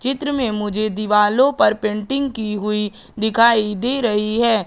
चित्र में मुझे दीवारों पर पेंटिंग की हुई दिखाई दे रही है।